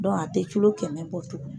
a tɛ culo kɛmɛ bɔ tugun.